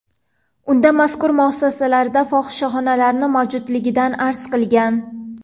Unda mazkur muassasalarda fohishaxonalar mavjudligidan arz qilingan.